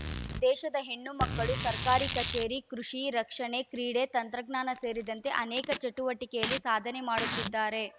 ದೇಶದ ಹೆಣ್ಣು ಮಕ್ಕಳು ಸರ್ಕಾರಿ ಕಚೇರಿ ಕೃಷಿ ರಕ್ಷಣೆ ಕ್ರೀಡೆ ತಂತ್ರಜ್ಞಾನ ಸೇರಿದಂತೆ ಅನೇಕ ಚಟುವಟಿಕೆಯಲ್ಲಿ ಸಾಧನೆ ಮಾಡುತ್ತಿದ್ದಾರೆ